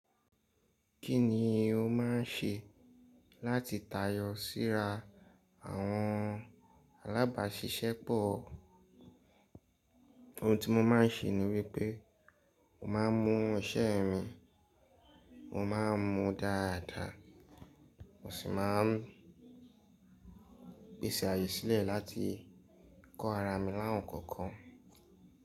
Kí ni o máà ń ṣe láti tayọ síra àwọn alábàáṣiṣẹ́ pọ̀? Ohun tí mo máa ń ṣe ni wípé mo máa ń mu iṣẹ́ mi, mo máa ń mu dáadáa, mo sì máa ń pèsè àyè sílẹ̀ láti kọ ara mi lá won ǹkan kan.